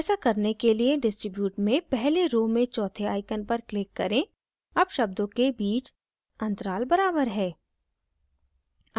ऐसा करने के लिए distribute में पहली row में चौथे icon पर click करें अब शब्दों के बीच अंतराल बराबर है